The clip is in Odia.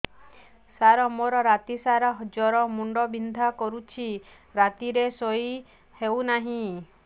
ସାର ମୋର ରାତି ସାରା ଜ୍ଵର ମୁଣ୍ଡ ବିନ୍ଧା କରୁଛି ରାତିରେ ଶୋଇ ହେଉ ନାହିଁ